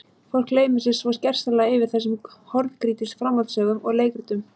Fólk gleymir sér svo gersamlega yfir þessum horngrýtis framhaldssögum og leikritum.